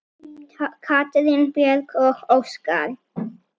Katrín Björg og Óskar.